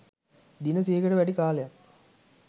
දින සියයකට වැඩි කාලයක්